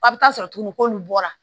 A bɛ taa sɔrɔ tuguni k'olu bɔra